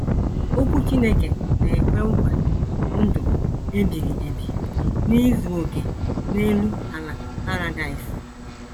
Okwu Chineke na - ekwe nkwa ndụ ebighị ebi n’izu okè n’elu ala paradaịs